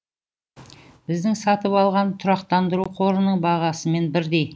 біздің сатып алған тұрақтандыру қорының бағасымен бірдей